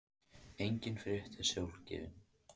Engin frétt er sjálfgefin.